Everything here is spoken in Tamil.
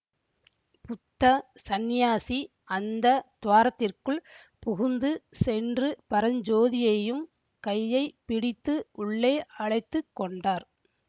புத்த சந்நியாசி அந்த துவாரத்திற்குள் புகுந்து சென்று பரஞ்சோதியையும் கையைப்பிடித்து உள்ளே அழைத்து கொண்டார்